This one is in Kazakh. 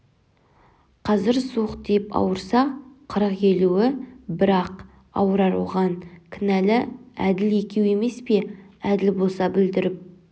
қазір суық тиіп ауырса қырық-елуі бір-ақ ауырар оған кінәлі әділ екеуі емес пе әділ болса бүлдіріп